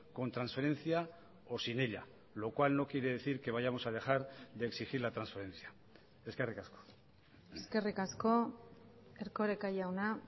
con transferencia o sin ella lo cual no quiere decir que vayamos a dejar de exigir la transferencia eskerrik asko eskerrik asko erkoreka jauna